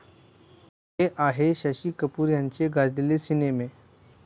हे आहेत शशी कपूर यांचे गाजलेले सिनेमे